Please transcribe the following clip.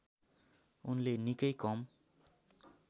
उनले निकै कम